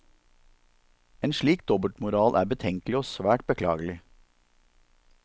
En slik dobbeltmoral er betenkelig og svært beklagelig.